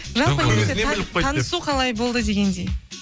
жалпы негізі танысу қалай болды дегендей